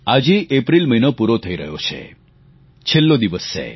આજે એપ્રિલ મહિનો પૂરો થઈ રહ્યો છે છેલ્લો દિવસ છે